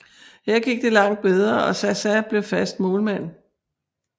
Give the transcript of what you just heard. Her gik det langt bedre og Zaza blev fast målmand